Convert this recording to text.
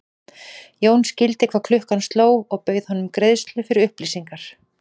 Jón skildi hvað klukkan sló og bauð honum greiðslu fyrir upplýsingar.